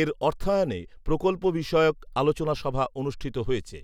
এর অর্থায়নে প্রকল্প বিষয়ক আলোচনা সভা অনুষ্ঠিত হয়েছে